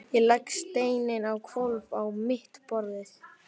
Ég legg steininn á hvolf á mitt borðið.